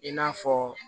I n'a fɔ